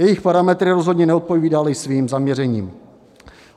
Jejich parametry rozhodně neodpovídaly svým zaměřením.